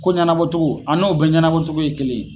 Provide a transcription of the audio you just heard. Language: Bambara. Ko ɲanabɔtogo a n'o bɛɛ ɲanabɔtogo ye kelen